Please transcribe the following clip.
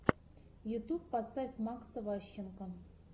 ютьюб поставь макса ващенко